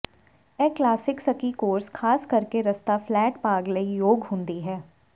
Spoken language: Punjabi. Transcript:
ਇਹ ਕਲਾਸਿਕ ਸਕੀ ਕੋਰਸ ਖਾਸ ਕਰਕੇ ਰਸਤਾ ਫਲੈਟ ਭਾਗ ਲਈ ਯੋਗ ਹੁੰਦੀ ਹੈ